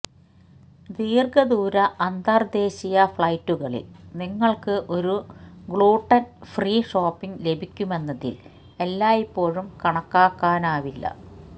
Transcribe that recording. ദീർഘദൂര അന്തർദ്ദേശീയ ഫ്ലൈറ്റുകളിൽ നിങ്ങൾക്ക് ഒരു ഗ്ലൂട്ടൺ ഫ്രീ ഷോപ്പിംഗ് ലഭിക്കുമെന്നതിൽ എല്ലായ്പ്പോഴും കണക്കാക്കാനാവില്ല